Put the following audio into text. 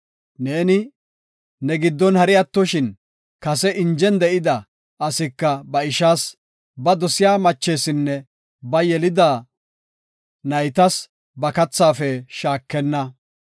Ne giddon hari attoshin kase injen de7ida asika ba ishaas, ba dosiya machesinne ba yelida naytas ba kathaafe shaakenna.